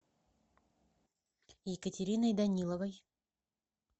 екатериной даниловой